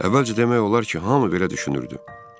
Əvvəlcə demək olar ki, hamı belə düşünürdü.